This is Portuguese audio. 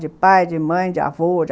De pai, de mãe, de avô,